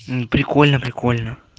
м прикольно прикольно